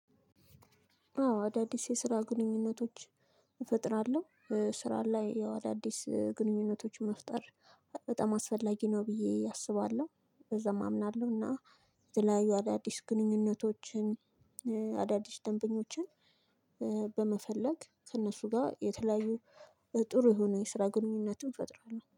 አዎ አዳዲስ የስራ ግንኙነቶች እፈጥራለሁ። ስራ ላይ ያው አዳዲስ ግንኙነቶች መፍጠር በጣም አስፈላጊ ነው ብዬ አስባለሁ። በዛም አምናለሁ እና የተለያዩ አዳዲስ ግንኙነቶችን አዳዲስ ደንበኞችን በመፈለግ ከነሱጋ የተለያዩ ጥሩ የሆነ የስራ ግንኙነትን እንፈጥራለን